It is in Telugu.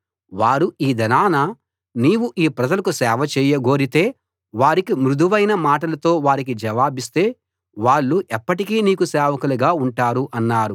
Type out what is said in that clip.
వారు ఈ దినాన నీవు ఈ ప్రజలకు సేవచేయ గోరితే వారికి మృదువైన మాటలతో వారికి జవాబిస్తే వాళ్ళు ఎప్పటికీ నీకు సేవకులుగా ఉంటారు అన్నారు